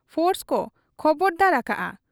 Force ᱠᱚ ᱠᱷᱚᱵᱚᱨᱫᱟᱨ ᱟᱠᱟᱜ ᱟ ᱾